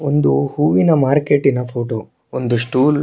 ಒಂದು ಹೂವಿನ ಮಾರ್ಕೆಟಿನ ಫೋಟೋ ಒಂದು ಸ್ಟೂಲ್ --